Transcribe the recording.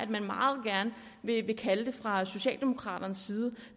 man meget gerne vil kalde det fra socialdemokraternes side